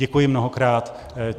Děkuji mnohokrát.